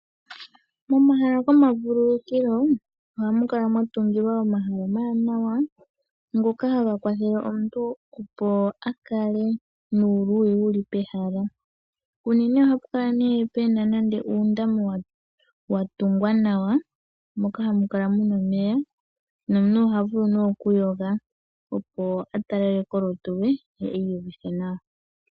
Momahala gomavululukilo ohaku kala mwatungilwa omahala omawanawa, ngoka haga kwathele omuntu opo akale nuuluyi wuli pehala. Unene ohapu kala puna nande muundama mboka watulwa omeya nomuntu oha vulu okuhonga opo atalaleke olutu lwe , ye iyuvithe nawa.